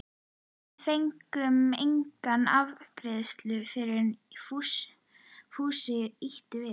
Við fengum enga afgreiðslu fyrr en Fúsi ýtti við